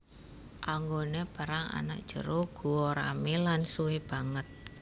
Anggoné perang ana jero guwa ramé lan suwé banget